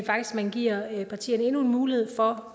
man giver partierne endnu en mulighed for